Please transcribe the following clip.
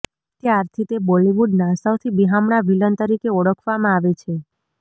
ત્યારથી તે બોલીવુડના સૌથી બિહામણા વિલન તરીકે ઓળખવામાં આવે છે